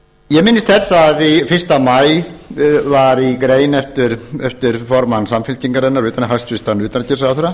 ég minnist þess að fyrsta maí var í grein eftir formann samfylkingarinnar hæstvirts utanríkisráðherra